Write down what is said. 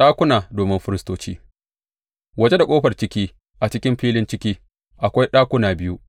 Ɗakuna domin firistoci Waje da ƙofar ciki, a cikin filin ciki, akwai ɗakuna biyu,